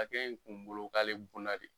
A cɛ in kun bolo k'ale bonna de